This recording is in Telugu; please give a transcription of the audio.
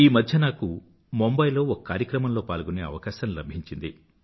ఈమధ్య నాకు ముంబయ్ లో ఒక కార్యక్రమంలో పాల్గొనే అవకాశం లభించింది